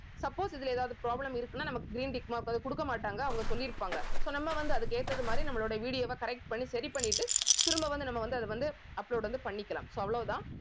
suppose இதுல ஏதாவது problem இருக்குன்னா நமக்கு green tick mark கொடுக்க மாட்டாங்க அவங்க சொல்லிருப்பாங்க so நம்ம வந்து அதுக்கு ஏத்த மாதிரி நம்மளோட ideo வை correct பண்ணி சரி பண்ணிட்டு திரும்ப வந்து நம்ம வந்து அதை வந்து upload வந்து பண்ணிக்கலாம் so அவ்வளவுதான்